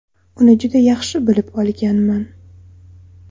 Uni juda yaxshi bilib olganman.